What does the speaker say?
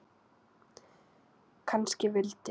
Kannski vildi